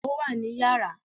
Ó wà ní yàrá